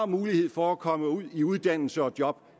mulighed for at komme ud i uddannelse og job